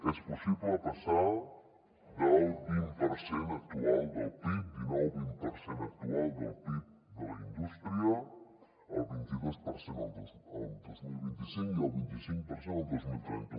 és possible passar del vint per cent actual del pib dinou vint per cent actual del pib de la indústria al vint i dos per cent el dos mil vint cinc i al vint i cinc per cent el dos mil trenta